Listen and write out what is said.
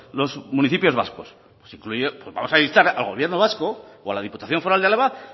los municipios vascos pues vamos a instar al gobierno vasco o a la diputación foral de álava